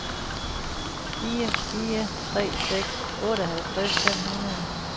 fire fire tre seks otteoghalvtreds fem hundrede